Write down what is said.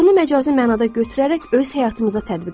Bunu məcazi mənada götürərək öz həyatımıza tətbiq edək.